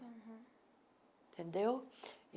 Entendeu?